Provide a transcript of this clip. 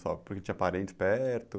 Só porque tinha parentes perto?